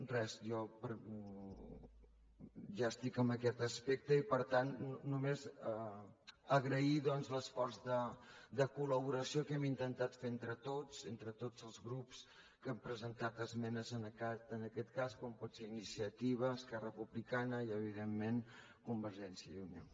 res jo ja estic en aquest aspecte i per tant només agrair doncs l’esforç de col·laboració que hem intentat fer entre tots entre tots els grups que hem presentat esmenes en aquest cas com poden ser iniciativa esquerra republicana i evidentment convergència i unió